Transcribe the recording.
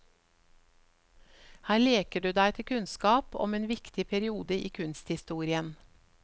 Her leker du deg til kunnskap om en viktig periode i kunsthistorien.